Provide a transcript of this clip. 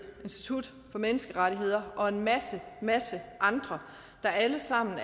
institut for menneskerettigheder og en masse masse andre der alle sammen